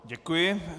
Děkuji.